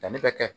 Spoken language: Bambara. Danni bɛ kɛ